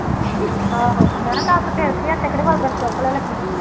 ਆਹੋ ਮੈਂ ਕਿਹਾ ਤੁਹਾਨੂੰ ਤਾਂ ਫੇਰ ਕਿਹਾ ਲੱਗੀ